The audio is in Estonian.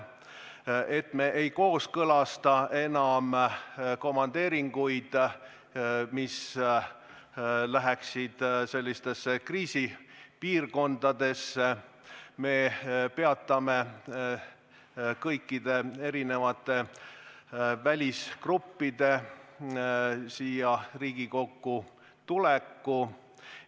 Me ei kooskõlasta enam komandeeringuid kriisipiirkondadesse ja peatame kõikide välisgruppide Riigikokku tuleku.